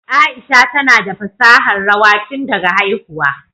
Aisha tana da fasahar rawa tun daga haihuwa